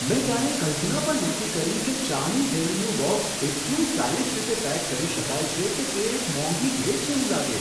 મેં ક્યારેય કલ્પના પણ નહોતી કરી કે ચાની થેલીનું બૉક્સ એટલું સ્ટાઇલિશ રીતે પેક કરી શકાય છે કે તે એક મોંઘી ભેટ જેવું લાગે.